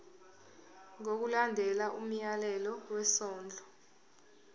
ngokulandela umyalelo wesondlo